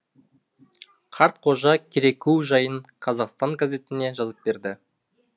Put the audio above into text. қартқожа кереку жайын қазақстан газетіне жазып берді